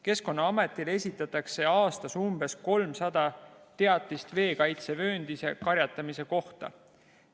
Keskkonnaametile esitatakse aastas umbes 300 teatist veekaitsevööndis karjatamise kohta.